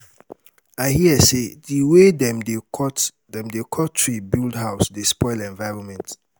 i hear sey di wey dem dey cut dem dey cut tree build house dey spoil environment.